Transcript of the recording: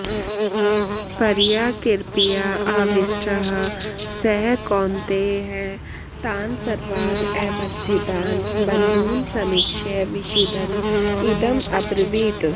परया कृपया आविष्टः सः कौन्तेयः तान् सर्वान् अवस्थितान् बन्धून् समीक्ष्य विषीदन् इदम् अब्रवीत्